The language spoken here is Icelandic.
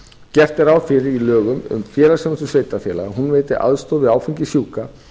gert er ráð fyrir í lögum um félagsþjónustu sveitarfélaga að hún veiti aðstoð við áfengissjúka